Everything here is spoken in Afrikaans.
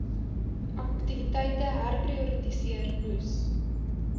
aktiwiteite herprioritiseer moes